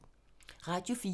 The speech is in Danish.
Radio 4